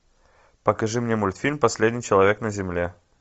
покажи мне мультфильм последний человек на земле